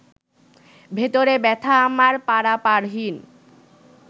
ভেতরে ব্যথা আমার পারাপারহীন